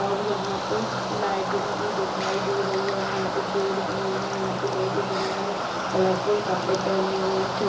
और यहाँ पे लाइटिंग भी दिखाई दे रही है एंड यहाँ पे पेड़ भी है एंड यहाँ पे लोग है जिन्होंने कलरफुल कपड़े पहने हुए है एंड छो --